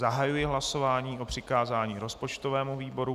Zahajuji hlasování o přikázání rozpočtovému výboru.